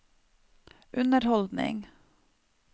underholdning